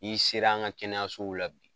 N'i sera an ŋa kɛnɛyasow la bi